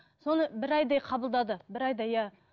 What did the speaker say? соны бір айдай қабылдады бір айдай иә